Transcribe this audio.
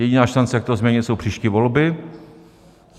Jediná šance, jak to změnit, jsou příští volby.